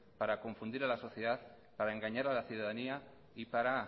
para confundir a la sociedad para engañar a la ciudadanía y para